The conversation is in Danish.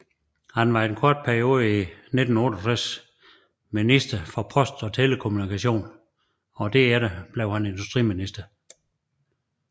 Han var i en kort periode i 1968 minister for post og telekommunikation og blev derefter industriminister